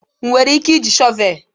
Ị nwere ike iji shọvel?